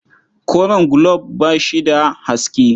Koren gulob ba shi da haske.